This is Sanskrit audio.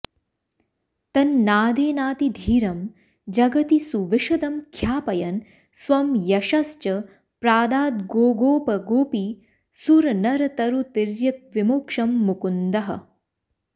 तन्नादेनातिधीरं जगति सुविशदं ख्यापयन् स्वं यशश्च प्रादाद्गोगोपगोपीसुरनरतरुतिर्यग्विमोक्षं मुकुन्दः